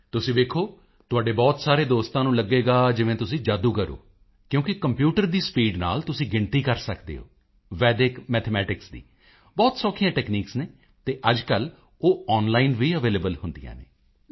ਤੁਸੀਂ ਵੇਖੋ ਤੁਹਾਡੇ ਬਹੁਤ ਸਾਰੇ ਦੋਸਤਾਂ ਨੂੰ ਲੱਗੇਗਾ ਜਿਵੇਂ ਤੁਸੀਂ ਜਾਦੂਗਰ ਹੋ ਕਿਉਕਿ ਕੰਪਿਊਟਰ ਦੀ ਸਪੀਡ ਨਾਲ ਤੁਸੀਂ ਗਿਣਤੀ ਕਰ ਸਕਦੇ ਹੋ ਵੈਡਿਕ ਮੈਥਮੈਟਿਕਸ ਦੀ ਬਹੁਤ ਸੌਖੀਆਂ ਟੈਕਨੀਕਸ ਹਨ ਅਤੇ ਅੱਜਕੱਲ੍ਹ ਉਹ ਆਨਲਾਈਨ ਵੀ ਅਵੇਲੇਬਲ ਹੁੰਦੀਆਂ ਹਨ